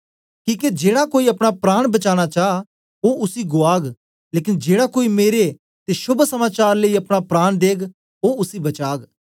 किके जेड़ा कोई अपना प्राण बचाना चा ओ उसी गुआग लेकन जेड़ा कोई मेरे ते शोभ समाचार लेई अपना प्राण देग ओ उसी बचाग